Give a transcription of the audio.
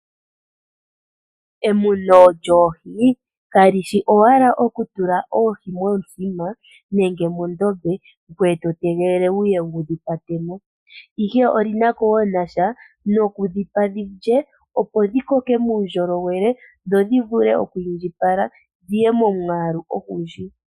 Emuno lyoohi kalishi owala okutula oohi momithima nenge mondombe, ngweye to tegelele wuye wudhi kwate mo, ihe olina ko wo nasha noku dhipa dhilye opo dhikoke muundjolowele, dho dhivule oku indjipala, dhiye momwaalu ogundji.